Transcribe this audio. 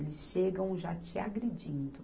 Eles chegam já te agredindo.